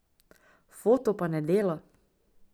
Foto pa ne dela.